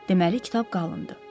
Deməli kitab qalındır.